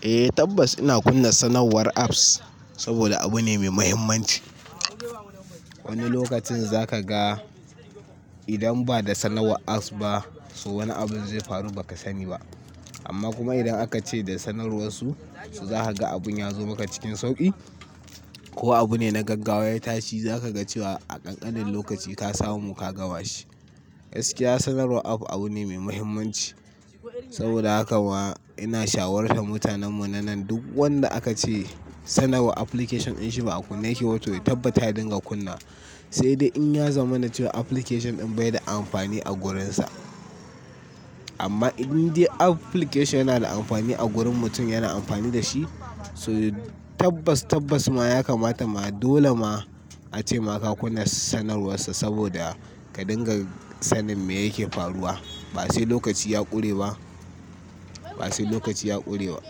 Eh tabbas ina kunna sanarwar apps, saboda abu ne mai mahimmanci. Wani lokacin za ka ga idan ba da sanarwar apps ba, so wani abun zai faru ba ka sani ba. Amma kuma idan aka ce da sanarwar su, za ka ga abun ya zo maka cikin sauƙi ko abu ne na gaggawa ya tashi, za ka ga cewa a ƙanƙanin lokaci ka samu ka gama shi. Gaskiya sanarwar app abu ne mai mahimmanci, saboda haka ma ina shawartar mutanen mu na nan duk wanda aka ce sanarwar application din shi ba a kunna yake ba, to ya tabbatar ya dinga kunna. Sai dai in ya zamanace application ɗin bai da amfani a gurinsa. Amma indai application yana da amfani a wurin mutum yana amfani da shi, to tabbas, tabbas ma ya kamata ma dole ma a ce maka kunna sanarwar sa saboda ka dinga sanin me yake faruwa. Ba sai lokaci ya ƙure ba, ba sai lokaci ya ƙure ba.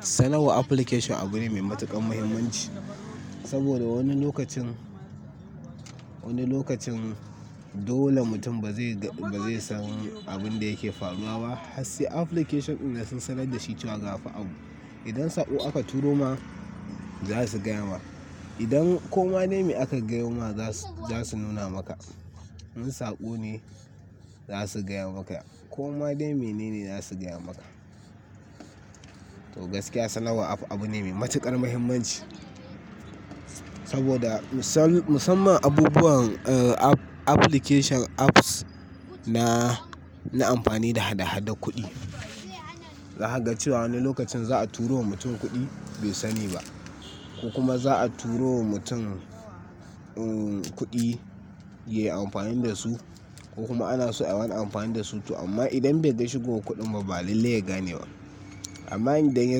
Sanarwa application abu ne mai matuƙar mahimmanci, saboda wani lokacin, wani lokacin dole mutum ba zai ga, ba zai san abin da yake faruwa ba, har sai application ɗin da sun sanar da shi cewa gafa abu. Idan sako aka turo ma, za su gaya maka. Idan koma dai me aka gayo ma, za su nuna maka. In sako ne, za su gaya maka. Koma dai mene ne, za su gaya maka. To gaskiya sanarwar app abu ne mai matuƙar mahimmanci. Saboda misal, musamman abubuwan application apps na, na amfani da hada-hada kuɗi. Za ka ga cewa wani lokacin za a turo wa mutum kuɗi, bai sani ba. Ko kuma za a turo wa mutum, kuɗi ya yi amfani da su, ko kuma ana so ayi wani amfani da su. To amma idan bai dai shigo wa kuɗin babba, lalle ya gane wa. Amma in dai ya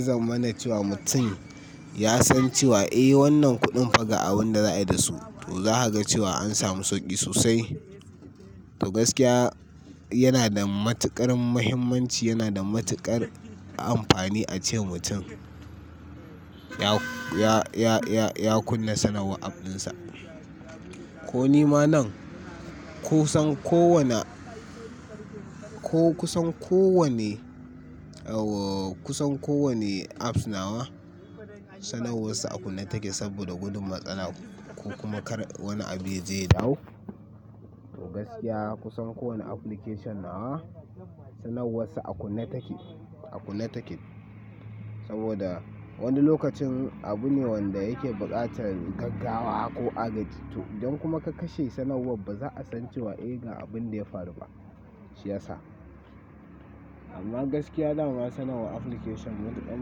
zamanace wa mutum ya san cewa, eh wannan kuɗin fa ga abun da za a yi da su, to za ka ga cewa an samu sauƙi sosai. To gaskiya yana da matuƙar muhimmanci, yana da matuƙar amfani a ce mutum ya, ya, ya kunna sanarwar app ɗinsa. Ko ni ma nan, ko san ko wane, ko kusan kowane, kusan kowane apps nawa sanarwar sa a kunne take saboda gudun matsala ko kuma kar wani abu ya je ya dawo. To gaskiya kusan kowane application nawa sanarwar sa a kunne take, a kunne take. Saboda wani lokacin abu ne wanda yake buƙatar gaggawa ko agaji. To don kuma ka kashe sanarwar, ba za a san cewa eh ga abun da ya faru ba, shi ya sa. Amma gaskiya da ma sanarwar application matuƙan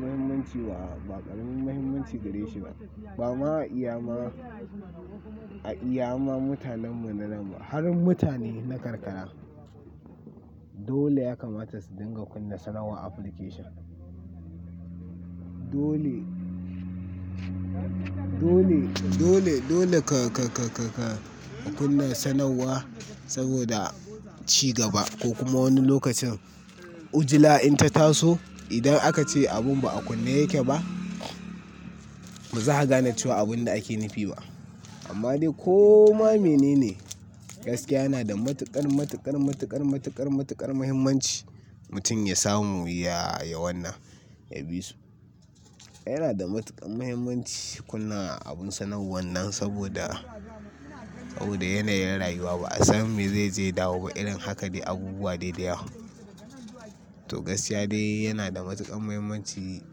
muhimmanci wa, ba ƙarin muhimmanci gareshi ba. Ba ma iya ma, a iya ma mutanen mu na nan ma har mutane na karkara. Dole ya kamata su dinga kunna sanarwar application. Dole, ka kunna sanarwa saboda ci gaba ko kuma wani lokacin ujila in ta taso, idan aka ce abun ba a kunne yake ba, ba za ka gane cewa abun da ake nufi ba. Amma dai ko ma mene ne, gaskiya yana da matuƙar, matuƙar, matuƙar, matuƙar, matuƙar muhimmanci mutum ya samu ya, ya wannan, ya bi su. Yana da matuƙar muhimmanci kunna abun sanarwar wannan saboda, saboda yanayin rayuwa ba a san me zai je ya dawo ba, idan haka dai abubuwa dai da yawa. To gaskiya dai yana da matuƙar muhimmanci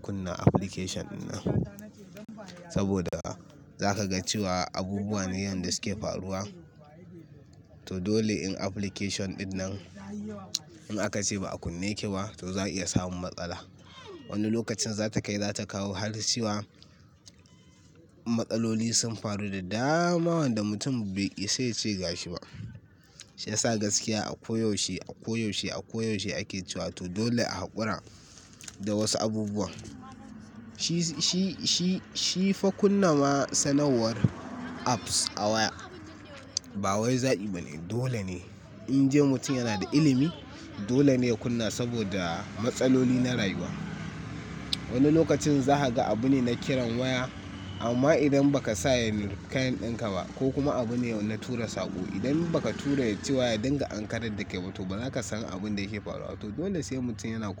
kunna application ɗinnan, saboda za ka ga cewa abubuwa ne yanda suke faruwa. To dole in application ɗinnan in aka ce ba a kunne yake ba, to za a iya samun matsala. Wani lokacin za ta kai za ta kawo har zuwa matsaloli sun faru da dama wanda mutum bai isa ya ce ga shi ba. Shi ya sa gaskiya a koyaushe, a koyaushe, a koyaushe ake cewa to dole a haƙura da wasu abubuwan. Shi fa kunna ma sanarwar apps a waya, ba wai zabi bane. Dole ne in dai mutum yana da ilimi, dole ne ya kunna saboda matsaloli na rayuwa. Wani lokacin za ka ga abu ne na kiran waya, amma idan ba ka sanya kayan ɗinka ba ko kuma abu ne na tura sako, idan ba ka tura shi cewa ya dinga ankarar da ke ba, to ba za ka san abun da yake faruwa. To dole sai mutum yana kunna.